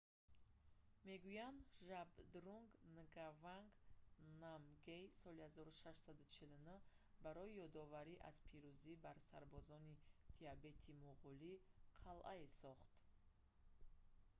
мегӯянд ки жабдрунг нгаванг намгйэл соли 1649 барои ёдоварӣ аз пирӯзӣ бар сарбозони тибетӣ-муғулӣ қалъае сохт